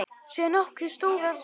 Sé nokkuð stóran sal.